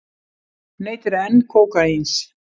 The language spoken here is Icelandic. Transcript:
Neytir enn kókaíns